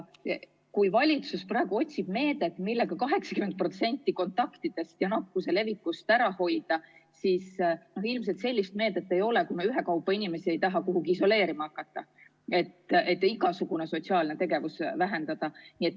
Kui valitsus otsib meedet, millega 80% kontaktidest ja nakkuse levikust ära hoida, siis on ilmselge, et sellist meedet ei ole, kui me just ei taha inimesi ühekaupa kuhugi isoleerima hakata, et igasugust sotsiaalset tegevust vähendada.